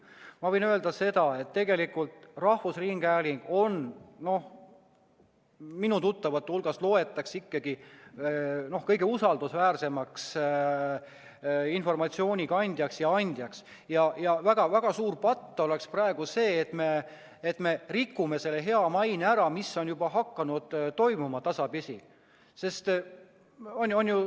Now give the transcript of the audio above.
Ma võin öelda seda, et tegelikult on rahvusringhääling, no vähemalt minu tuttavate hulgas, ikkagi kõige usaldusväärsem informatsiooni kandja ja andja, ning väga suur patt oleks see, kui me rikuksime ära selle hea maine, mis on juba tasapisi hakanud tekkima.